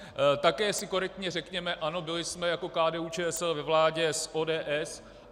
Také si korektně řekněme ano, byli jsme jako KDU-ČSL ve vládě s ODS.